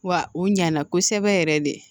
Wa u ɲana kosɛbɛ yɛrɛ de